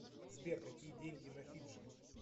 сбер какие деньги на фиджи